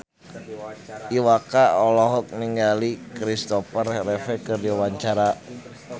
Iwa K olohok ningali Kristopher Reeve keur diwawancara